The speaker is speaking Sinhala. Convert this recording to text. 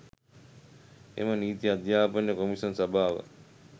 එම නීති අධ්‍යාපන කොමිෂන් සභාව